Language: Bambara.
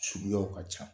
Suguyaw ka ca